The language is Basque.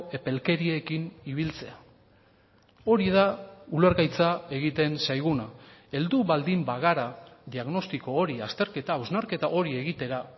epelkeriekin ibiltzea hori da ulergaitza egiten zaiguna heldu baldin bagara diagnostiko hori azterketa hausnarketa hori egitera